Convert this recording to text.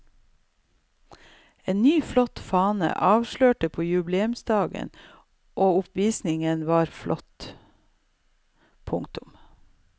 En ny flott fane ble avslørt på jubileumsdagen og oppvisningen var flott. punktum